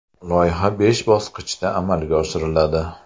Loyiha besh bosqichda amalga oshiriladi.